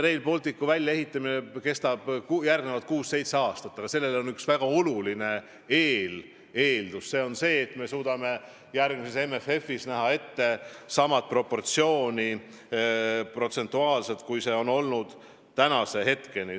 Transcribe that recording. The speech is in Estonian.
Rail Balticu väljaehitamine kestab kuus-seitse aastat, aga selleks on üks väga oluline eeldus: me peame suutma järgmises MFF-is saavutada protsentuaalselt sama proportsiooni, kui see on olnud seni.